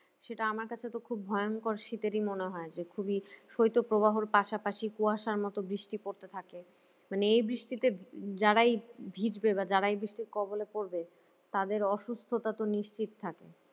সেটা আমার কাছে তো খুব ভয়ঙ্কর শীতেরই মনে হয় যে খুবিই শৈত্যপ্রবাহ র পাশাপাশি কুয়াশার মতো বৃষ্টি পড়তে থাকে মানে এই বৃষ্টিতে যারাই ভিজবে বা যারা এ বৃষ্টির কবলে পড়বে তাদের অসুস্থতা তো নিশ্চিত থাকে